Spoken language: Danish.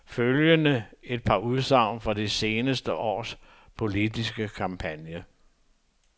Følgende et par udsagn fra det seneste års politiske kampagne.